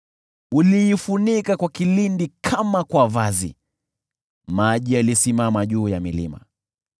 Uliifunika kwa kilindi kama kwa vazi, maji yalisimama juu ya milima.